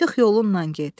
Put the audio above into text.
Çıx yolunnan get.